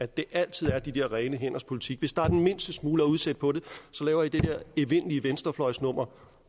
det er altid de der rene hænders politik hvis der er den mindste smule at udsætte på det laver i det der evindelige venstrefløjsnummer